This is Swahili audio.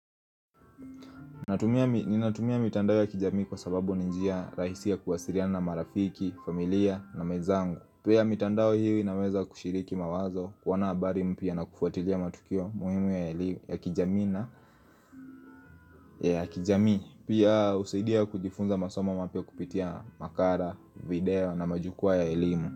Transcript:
Ninatumia mitandao ya kijami kwa sababu ni njia rahisi ya kuwasiriana na marafiki, familia na mwezangu Pia mitandao hii inaweza kushiriki mawazo kuona habari mpya na kufuatilia matukio muhimu ya kijamii na ya kijami Pia husaidia kujifunza masomo mapya kupitia makara, video na majukwaa ya elimu.